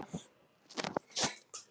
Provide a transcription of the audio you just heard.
Í vælinu myndast orð.